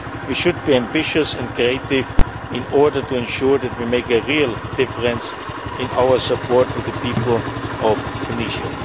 We should be ambitious and creative in order to ensure that we make a real difference in our support for the people of Tunisia.